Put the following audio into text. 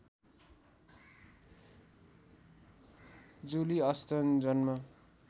जुली Aston जन्म